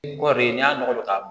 n'i y'a nɔgɔlo k'a